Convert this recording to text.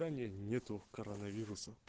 да не нету коронавируса